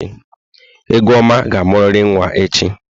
Egoma ga-amụrịrị nwaa echi!